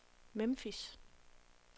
Memphis